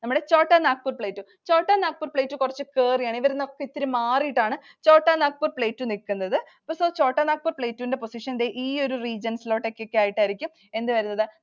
നമ്മുടെ Chotanagpur Plateau. Chotanagpur Plateau കുറച്ചു കേറിയാണ്, ഇവരിൽനിന്നൊക്കെ ഇത്തിരി മാറിയാണ് Chotanagpur Plateau നിക്കുന്നത്. Chotanagpur Plateau ൻറെ position ദേ ഈ ഒരു regions ലൊക്കെ ആയിട്ടായിരിക്കും എന്ത് വരുന്നത്?